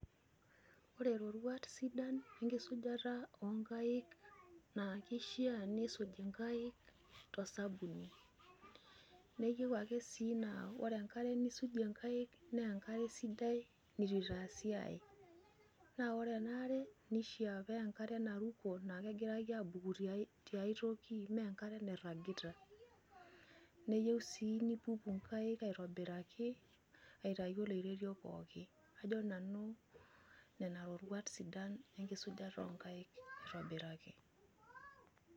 Ore lorwat sidan enkisujata oonkaik naa keishaa niisuj inkaik to sabuni. Neyiou ake sii naa ore enkare nisujie inkaik naa enkare sidai neitu eitaasi ae. Naa ore enaa are nifaa naa enkare naruko naa kegirai abuku tiae toki mee enkare nairagita. Neyieu sii nintuku nkaik aitobiraki aitayu oloirerio pooki. Ajo nanu nenaa irorwat sidan enkisujata onkaik aitobiraki.